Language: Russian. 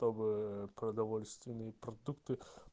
продовольственные продукты